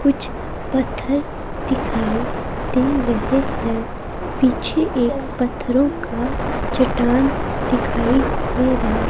कुछ पत्थर दिखाई दे रहे हैं पीछे एक पत्थरों का चट्टान दिखाई दे रहा--